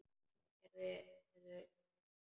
Og hvað gerðuð þér svo?